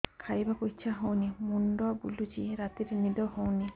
ଖାଇବାକୁ ଇଛା ହଉନି ମୁଣ୍ଡ ବୁଲୁଚି ରାତିରେ ନିଦ ହଉନି